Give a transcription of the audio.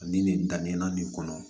Ani nin daminɛna nin kɔnɔ